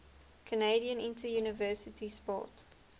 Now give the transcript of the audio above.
canadian interuniversity sport